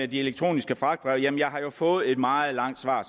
de elektroniske fragtbreve har jeg jo fået et meget langt svar